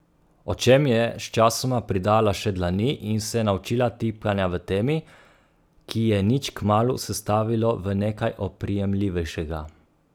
Očem je sčasoma pridala še dlani in se naučila tipanja v temi, ki je nič kmalu sestavilo v nekaj oprijemljivejšega.